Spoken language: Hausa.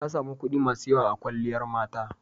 Ta sami kuɗi masu yawa a kwalliyar mata.